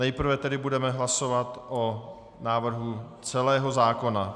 Nejprve tedy budeme hlasovat o návrhu celého zákona.